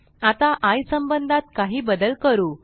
आता आय संबंधात काही बदल करू